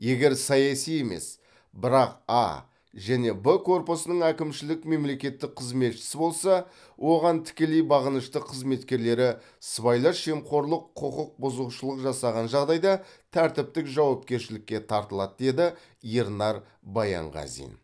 егер саяси емес бірақ а және б корпусының әкімшілік мемлекеттік қызметшісі болса оған тікелей бағынышты қызметкерлері сыбайлас жемқорлық құқық бұзушылық жасаған жағдайда тәртіптік жауапкершілікке тартылады деді ернар баянғазин